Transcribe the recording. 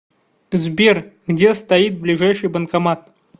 сбер где стоит ближайший банкомат